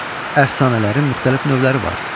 Əfsanələrin müxtəlif növləri var.